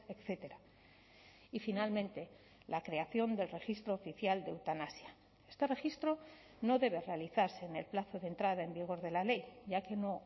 etcétera y finalmente la creación del registro oficial de eutanasia este registro no debe realizarse en el plazo de entrada en vigor de la ley ya que no